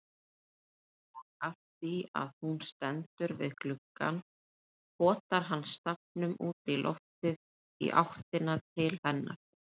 Og afþvíað hún stendur við gluggann potar hann stafnum útí loftið í áttina til hennar.